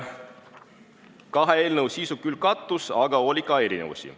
Kahe eelnõu sisu küll kattus, aga oli ka erinevusi.